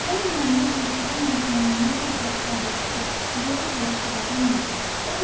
Atabəy Məhəmməd məktubun məzmunundan o qədər şad idi ki, yerə göyə sığa bilmirdi.